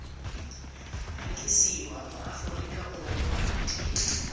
rekisiwa mo aforika borwa di